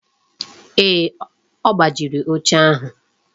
Ee, ọ gbajiri oche ahụ